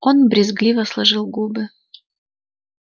он брезгливо сложил губы